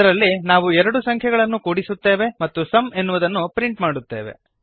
ಇದರಲ್ಲಿ ನಾವು ಎರಡು ಸಂಖ್ಯೆಗಳನ್ನು ಕೂಡಿಸುತ್ತೇವೆ ಮತ್ತು ಸುಮ್ ಎನ್ನುವುದನ್ನು ಪ್ರಿಂಟ್ ಮಾಡುತ್ತೇವೆ